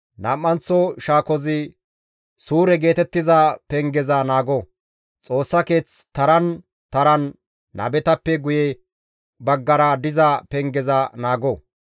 Nam7anththo shaakozi Suure geetettiza pengeza naago; Xoossa keeth taran taran nabetappe guye baggara diza pengeza naago.